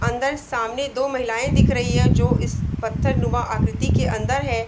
अंदर सामने दो महिलायें दिख रही है और जो इस पत्थर नुमा आकृति के अंदर है।